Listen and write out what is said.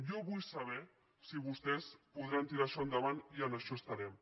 jo vull sa·ber si vostès podran tirar això endavant i en això es·tarem